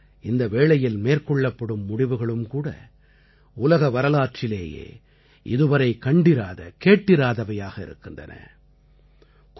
ஆகையால் இந்த வேளையில் மேற்கொள்ளப்படும் முடிவுகளும்கூட உலக வரலாற்றிலேயே இதுவரை கண்டிராதகேட்டிராதவையாக இருக்கின்றன